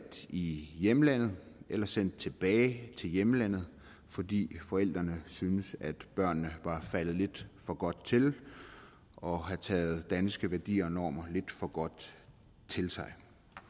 i hjemlandet eller sendt tilbage til hjemlandet fordi forældrene syntes at børnene var faldet lidt for godt til og havde taget danske værdier og normer lidt for godt til sig